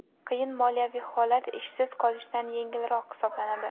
Qiyin moliyaviy holat ishsiz qolishdan yengilroq hisoblanadi.